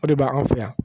O de bɛ anw fɛ yan